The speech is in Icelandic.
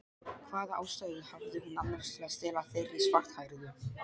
Hvaða ástæðu hafði hún annars til að stela þeirri svarthærðu?